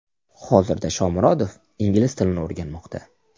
Hozirda Shomurodov ingliz tilini o‘rganmoqda.